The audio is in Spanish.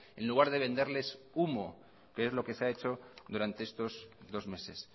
en lugar de venderles humo que es lo que se ha hecho durante estos dos meses